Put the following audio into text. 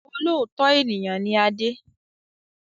Olóòótọ́ ènìyàn ni Adé